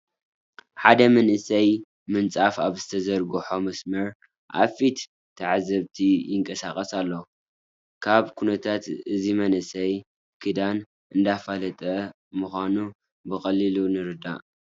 ሓደ መንእሰይ ምንፃፍ ኣብ ዝተዘርግሖ መስመር ኣብ ፊት ተዓዘብቲ ይንቀሳቐስ ኣሎ፡፡ ካብ ኩነታቱ እዚ መንእሰይ ክዳን እንዳፋለጠ ምዃኑ ብቐሊሉ ንርዳእ፡፡